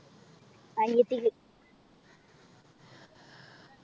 അനിയത്തിക്ക്